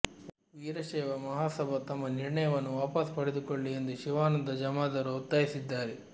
ವೀರಶೈವ ಮಹಾಸಭಾ ತಮ್ಮ ನಿರ್ಣಯವನ್ನು ವಾಪಸ್ ಪಡೆದುಕೊಳ್ಳಿ ಎಂದು ಶಿವಾನಂದ ಜಾಮದಾರ್ ಒತ್ತಾಯಿಸಿದ್ದಾರೆ